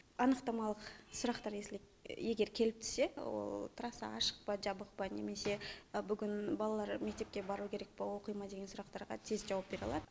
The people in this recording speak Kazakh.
анықтамалық сұрақтар если егер келіп түссе трасса ашық па жабық па немесе бүгін балалар мектепке бару керек па оқи ма деген сұрақтарға тез жауап бере алады